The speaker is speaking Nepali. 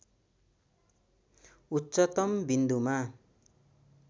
उच्चतम विन्दुमा